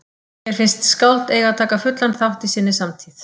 Mér finnst skáld eiga að taka fullan þátt í sinni samtíð.